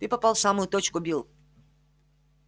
ты попал в самую точку билл